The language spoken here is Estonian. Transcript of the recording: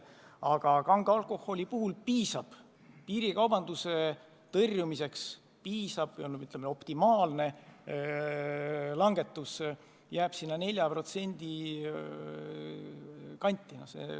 Aga kange alkoholi puhul piisab piirikaubanduse tõrjumiseks või, ütleme, optimaalne langetus jääb 4% kanti.